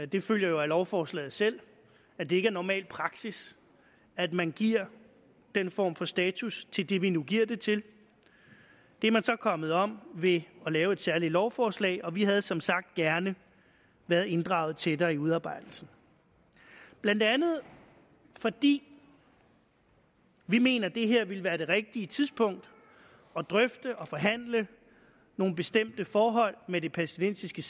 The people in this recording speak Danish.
det følger jo af lovforslaget selv at det ikke er normal praksis at man giver den form for status til det vi nu giver det til det er man så kommet om ved at lave et særlig lovforslag vi havde som sagt gerne været inddraget tættere i udarbejdelsen blandt andet fordi vi mener at det her ville være det rigtige tidspunkt at drøfte og forhandle nogle bestemte forhold med det palæstinensiske